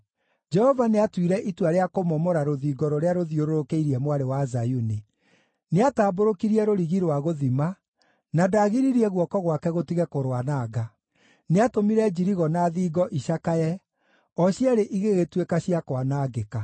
Jehova nĩatuire itua rĩa kũmomora rũthingo rũrĩa rũthiũrũrũkĩirie Mwarĩ wa Zayuni. Nĩatambũrũkirie rũrigi rwa gũthima, na ndaagiririe guoko gwake gũtige kũrwananga. Nĩatũmire njirigo na thingo icakaye; o cierĩ igĩgĩtuĩka cia kwanangĩka.